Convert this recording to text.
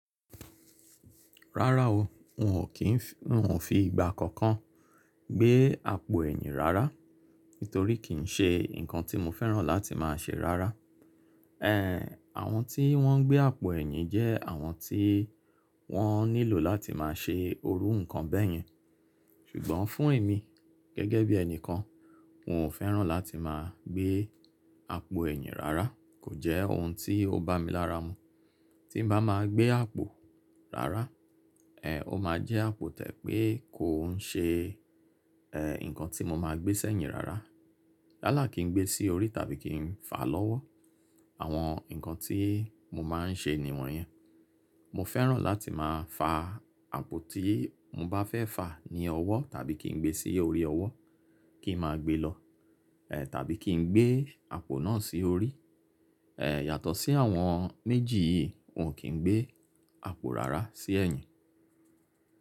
Rárá o, wò ò kí n fi ìgbà kankan gbé àpò ẹ̀yìn rárá, nítorí kìí ṣe nǹkan tí mo fẹ́ràn láti máa ṣe rárá. Ehn, àwọn tí wọ́n ń gbé àpò ẹ̀yìn jẹ́ àwọn tí wọ́n nílò láti máa ṣe irú nǹkan bẹ́yẹn. Ṣùgbọ́n fún èmi gẹ́gẹ́ bí ẹni kan, mo ò fẹ́ràn láti máa gbé àpò ẹ̀yìn rárá. Kò jẹ́ ohun tí ó bá mi lára mu. Tí n bá máa gbé àpò rárá, ehn, ó máa jẹ́ àpò to jẹ pé kò n ṣe, ehn, nǹkan tí mo máa gbé sẹ́yìn rárá. Yáàlá kí n gbé sí orí tàbí kí n fà lọ́wọ́. Àwọn nǹkan tí mo máa n ṣe ni wọ̀n yẹn. Mo fẹ́ràn láti máa fà àpò tí mo bá fẹ́ fà ní ọwọ́ tàbí kí n gbé sí orí ọwọ́ kí máa gbé lọ, ehn, tàbí kí n gbé àpò náà sí orí. Ehn, yàtọ̀ sí àwọn méjì yìí, mò kí n gbé àpò rárá sí ẹ̀yìn.